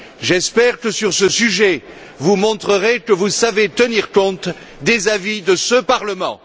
J'espère que, sur ce sujet, vous montrerez que vous savez tenir compte des avis de ce Parlement.